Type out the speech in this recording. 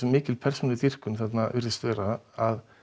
mikil persónudýrkun virðist vera að